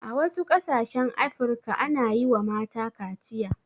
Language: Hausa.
A wasu ƙasashen afirka ana yiwa mata kaciya